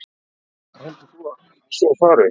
Sindri: Og heldur þú að svo fari?